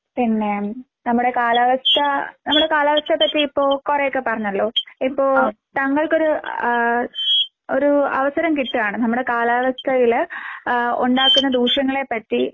പിന്നെ നമ്മുടെ കാലാവസ്ഥ നമ്മള് കാലാവസ്ഥയെപ്പറ്റി ഇപ്പൊ കൊറയൊക്കെ പറഞ്ഞല്ലോ ഇപ്പോ താങ്കൾക്കൊരു ആഹ് ഒരു അവസരം കിട്ടാണ് നമ്മുടെ കാലാവസ്ഥയില് ഏഹ് ഒണ്ടാക്കുന്ന ദൂഷ്യങ്ങളെപ്പറ്റി